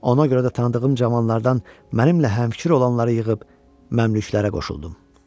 Ona görə də tanıdığım cavanlardan mənimlə həmfikir olanları yığıb məmlüklərə qoşuldum.